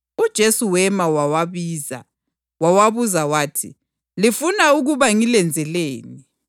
UJesu wema wawabiza, wawabuza wathi, “Lifuna ukuba ngilenzeleni?”